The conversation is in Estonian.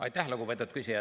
Aitäh, lugupeetud küsija!